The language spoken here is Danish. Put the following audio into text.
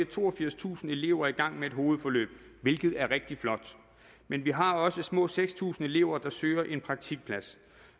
toogfirstusind elever i gang med et hovedforløb hvilket er rigtig flot men vi har også små seks tusind elever der søger en praktikplads